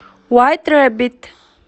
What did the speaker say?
вайт рэббит